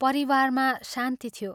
परिवारमा शान्ति थियो।